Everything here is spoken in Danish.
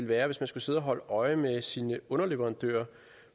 være hvis man skulle sidde og holde øje med sine underleverandører